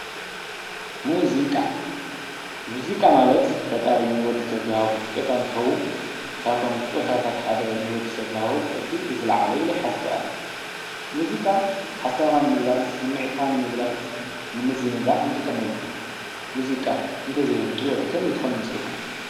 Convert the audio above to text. ሙዙቃ-ሙዚቃ ማለት ፈጣሪ ንወድ ሰብ ዝሃቦ ስጠታ እንትኸውን ካብቶም ስጦታት ሓደ ንወዲ ሰብ ዝሃቦ እቲ ዝለዓለ እዩ ኢለ ኣነ ይሓስብ፡፡ ሙዚቃ ሓሳብኻ ንምግላፅ ስምዒትካ ንምግላፅ፣ ንምዝንጋዕ ንጥቀምሉ፡፡ ሙዚቃ እንተዘይሀሉ ህይወት ከመይ ትኾን ይመስለኩም?